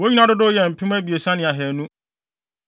Wɔn nyinaa dodow yɛɛ mpem abiɛsa ne ahannu.